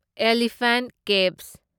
elephant caves